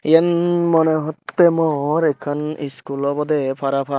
eyan monehottey mor ekkan school obodey parapang.